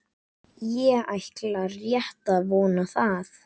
Ég ætla rétt að vona það.